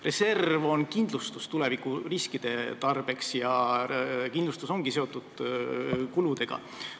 Reserv on kindlustus tulevikuriskide tarbeks ja kindlustus ongi seotud kuludega.